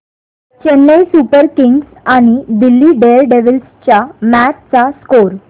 Chennai super kings आणि Delhi daredevils च्या match चा स्कोअर